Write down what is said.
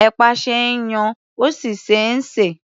Ẹ̀pà ṣe é yan, ó sì ṣe é sè.